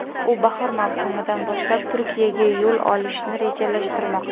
U bahor mavsumidan boshlab Turkiyaga yo‘l olishni rejalashtirmoqda.